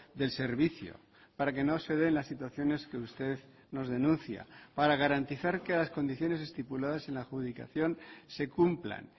del servicio para que no se den las situaciones que usted nos denuncia para garantizar que las condiciones estipuladas en la adjudicación se cumplan